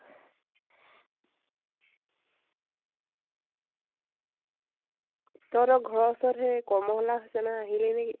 তহঁতৰ ঘৰ ৰ ওচৰত কমলা হাচানা আহিলে নেকি ?